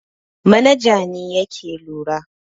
Manaja ne yake lura.